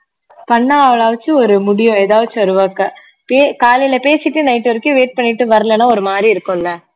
பண்ணா அவள வெச்சு ஒரு முடிவு எதாச்சு ஒரு work உ கே~ காலையில பேசிட்டு night வரைக்கும் wait பண்ணிட்டு வரலனா ஒரு மாரி இருக்கும் இல்ல